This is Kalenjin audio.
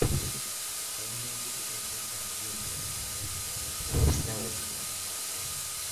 Koimutichuton chechang' kindie en oret neui nemapanganan.